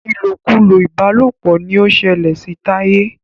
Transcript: ilokulo ìbálòpọ̀ ní o ṣẹlẹ sí Taye.